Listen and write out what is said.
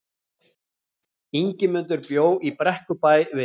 Ingimundur bjó í Brekkubæ við